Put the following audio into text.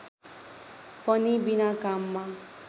पनि बिना काममा